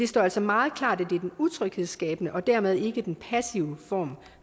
står altså meget klart at det er den utryghedsskabende og dermed ikke den passive form